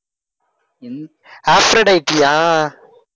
அஃப்ரோடைட்டியா